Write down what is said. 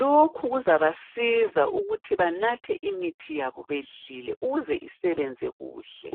lokhu kuzabasiza ukuthi banathe imithi yabo bedlile ukuze isebenze kuhle.